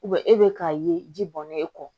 e bɛ k'a ye ji bɔnnen e kɔ